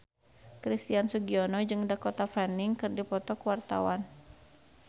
Christian Sugiono jeung Dakota Fanning keur dipoto ku wartawan